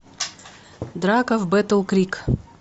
драка в бэттл крик